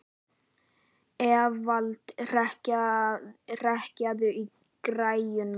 Evald, hækkaðu í græjunum.